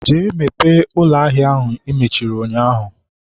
jee mepee ụlọ ahịa ahụ i mechiri ụnyaahụ.!